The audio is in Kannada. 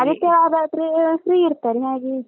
ಆದಿತ್ಯವಾರ ಆದ್ರೇ free ಇರ್ತ್ತಾರೆ ಹಾಗೆ.